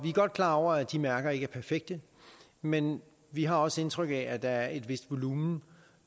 er godt klar over at de mærker ikke er perfekte men vi har også indtryk af at der er et vist volumen